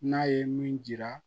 N'a ye min jira